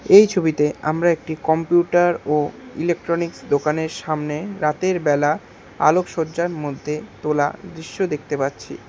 এই ছবিতে আমরা একটি কম্পিউটার ও ইলেকট্রনিকস দোকানের সামনে রাতের বেলা আলোকসজ্জার মধ্যে তোলা দৃশ্য দেখতে পাচ্ছি।